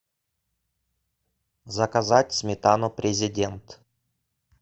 заказать сметану президент